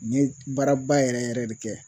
N ye baaraba yɛrɛ yɛrɛ yɛrɛ de kɛ